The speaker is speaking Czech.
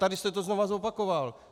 Tady jste to znovu zopakoval.